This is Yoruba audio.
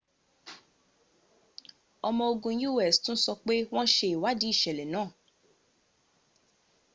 ọmo ogun us tún sọ pé wọ́n ṣe ìwádìí ìṣẹ̀lẹ̀ náà